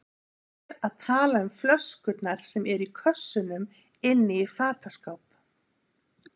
Ég er að tala um flöskurnar sem eru í kössunum inni í fataskáp.